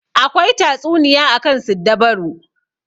Akwai tatsuniya akan siddabaru.